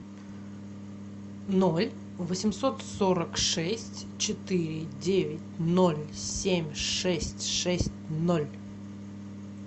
ноль восемьсот сорок шесть четыре девять ноль семь шесть шесть ноль